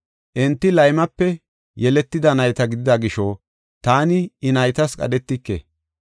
Enti laymepe yeletida nayta gidida gisho, taani I naytas qadhetike.